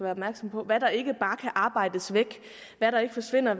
opmærksomme på hvad der ikke bare kan arbejdes væk hvad der ikke forsvinder